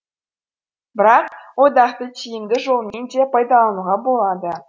бірақ одақты тиімді жолмен де пайдалануға болады